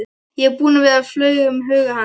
Ég er búinn að vera, flaug um huga hans.